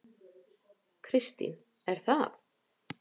Kristín: Er það?